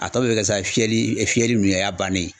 A tɔ bɛ kɛ sa fiyɛli fiyɛli ninnu ye o y'a bannen ye.